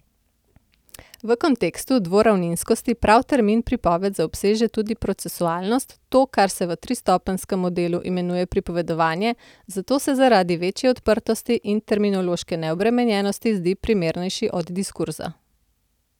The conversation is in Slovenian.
V kontekstu dvoravninskosti prav termin pripoved zaobseže tudi procesualnost, to, kar se v tristopenjskem modelu imenuje pripovedovanje, zato se zaradi večje odprtosti in terminološke neobremenjenosti zdi primernejši od diskurza.